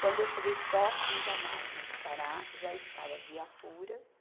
Quando eu cheguei próximo da máquina parar, já estava viaturas.